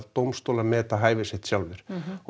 dómstólar meti hæfi sitt sjálfir og